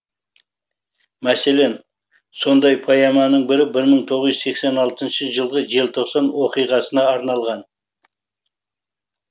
мәселен сондай поэманың бірі бір мың тоғыз жүз сексен алтыншы жылғы желтоқсан оқиғасына арналған